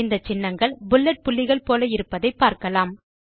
இந்த சின்னங்கள் புல்லெட் புள்ளிகள் போல இருப்பதை பார்க்கலாம்